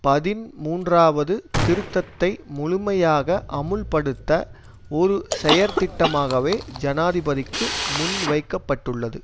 பதின்மூன்றாவது திருத்தத்தை முழுமையாக அமுல்படுத்த ஒரு செயற்திட்டமாகவே ஜனாதிபதிக்கு முன்வைக்க பட்டுள்ளது